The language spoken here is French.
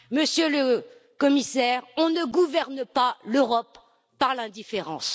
Monsieur le Commissaire, on ne gouverne pas l'Europe par l'indifférence.